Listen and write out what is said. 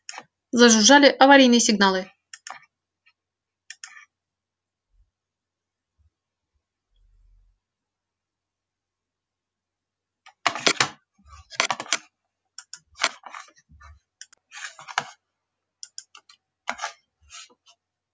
зажужжали аварийные сигналы